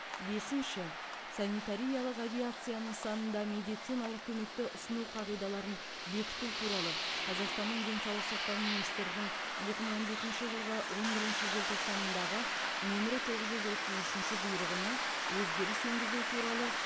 бесінші санитариялық авиация нысанында медициналық көмекті ұсыну қағидаларын бекіту туралы қазақстанның денсаулық сақтау министрінің екі мың он жетінші жылғы он бірінші желтоқсандағы нөмірі тоғыз жүз отыз үшінші бұйрығына өзгеріс енгізу туралы